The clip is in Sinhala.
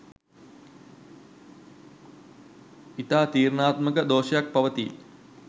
ඉතා තීරණාත්මක දෝෂයක් පවතී.